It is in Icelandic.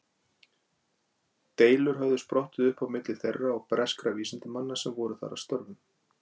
Deilur höfðu sprottið upp á milli þeirra og breskra vísindamanna sem voru þar að störfum.